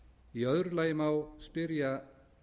í öðru lagi má spyrja